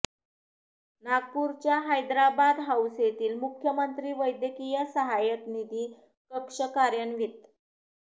नागपूरच्या हैद्राबाद हाऊस येथील मुख्यमंत्री वैद्यकीय सहायता निधी कक्ष कार्यान्वित